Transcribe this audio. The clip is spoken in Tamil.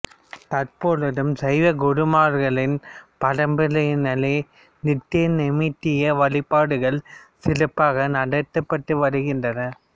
தற்பொழுதும் சைவக்குருமார்களின் பரம்பரையினராலேயே நித்திய நைமித்திய வழிபாடுகள் சிறப்பாக நடாத்தப்பட்டு வருகின்றன